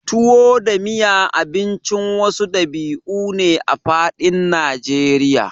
tuwo da miya Abincin wasu ɗabi'u ne a faɗin najeriya